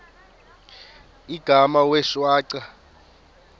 igama wee shwaca